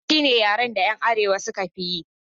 Hausa shine yaren da 'yan arewa suka fi yi